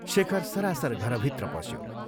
शेखर सरासर घरभित्र पस्यो।